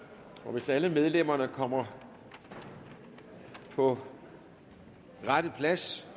hvis alle medlemmer kommer på rette plads